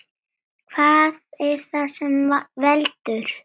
Hvað er það sem veldur?